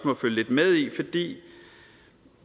må følge lidt med i fordi